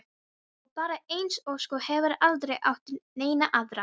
Á bara eina ósk og hefur aldrei átt neina aðra.